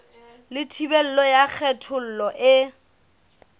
le thibelo ya kgethollo e